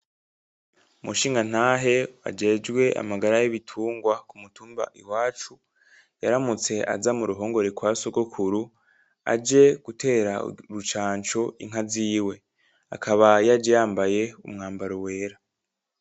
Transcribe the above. Umushingantahe ajejwe amagara yibitunga kumutumba iwacu, yaramutse aza muruhongore kwa sokuru aje gutera urucanco inka ziwe, akaba yaje yambaye impuzu yera